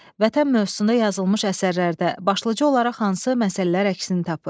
Vətən mövzusunda yazılmış əsərlərdə başlıca olaraq hansı məsələlər əksini tapır?